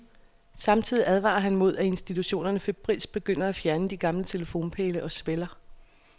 Samtidig advarer han mod, at institutionerne febrilsk begynder at fjerne gamle telefonpæle og sveller.